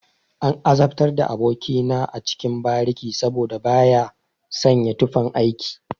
An azabtar da aboki na a cikin bariki saboda baya sanya tufan aiki.